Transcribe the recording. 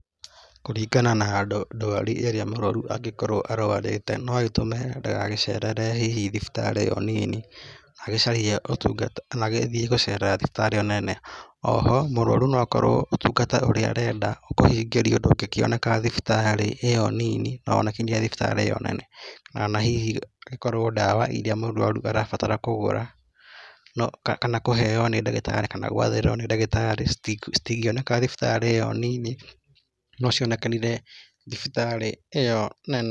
Kũringana na ndwari ĩrĩa mũrwaru angĩkorwo arwarĩte noĩtũme ndagagĩcerere hihi thibitarĩ onini agĩcaria ũtungata na gĩthiĩ gũcerera thibitarĩ ĩyo nene. Oho mũrũarũ noakorwo ũtungata ũraĩ arenda ũkorwe hihi ndũngĩoneka thibitarĩ ĩyo nini kana hihi ũkorwe ndawa mũrwaru arabatara kũgũra kana kũheo nĩ ndagĩtarĩ kana gwathĩrĩrwa nĩ ndagĩtarĩ citingĩoneka thibitarĩ ĩyo nini nocionekanire thibitarĩ ĩyo nene.